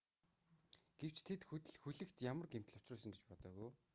гэвч тэд хөлөгт ямарваа гэмтэл учруулсан гэж бодоогүй